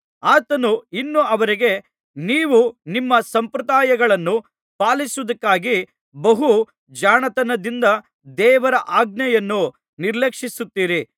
ಆತನು ಇನ್ನೂ ಅವರಿಗೆ ನೀವು ನಿಮ್ಮ ಸಂಪ್ರದಾಯಗಳನ್ನು ಪಾಲಿಸುವುದಕ್ಕಾಗಿ ಬಹು ಜಾಣತನದಿಂದ ದೇವರ ಆಜ್ಞೆಯನ್ನು ನಿರ್ಲಕ್ಷಿಸುತ್ತೀರಿ